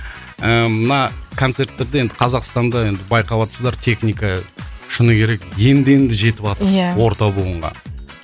ііі мына концерттерде енді қазақстанда енді байқап отсыздар техника шыны керек енді енді жетіватыр иә орта буынға